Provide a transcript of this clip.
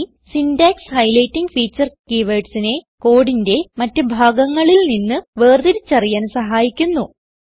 ഈ syntax highlighting feature keywordsനെ കോഡിന്റെ മറ്റ് ഭാഗങ്ങളിൽ നിന്ന് വേർതിരിച്ചറിയാൻ സഹായിക്കുന്നു